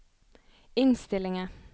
innstillinger